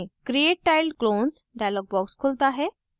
create tiled clones dialog box खुलता है